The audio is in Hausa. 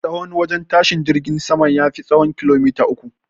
Tsahon wajen tashin jirgin saman, ya fi tsahon kilomater uku